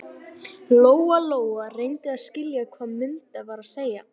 Lóa Lóa reyndi að skilja hvað Munda var að segja.